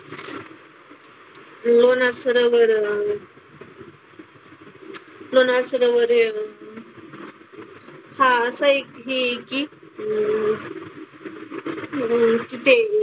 लोणार सरोवर हा असं एक हे आहे की अह